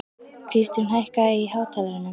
Kristrún, hækkaðu í hátalaranum.